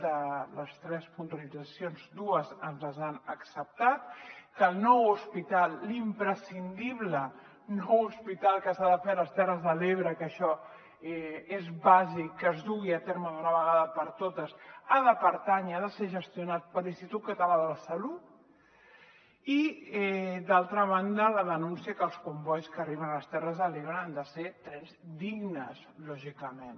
de les tres puntualitzacions dues ens les han acceptat que el nou hos·pital l’imprescindible nou hospital que s’ha de fer a les terres de l’ebre que això és bàsic que es dugui a terme d’una vegada per totes ha de pertànyer ha de ser gestio·nat per l’institut català de la salut i d’altra banda la denúncia que els combois que arriben a les terres de l’ebre han de ser trens dignes lògicament